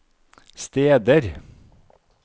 steder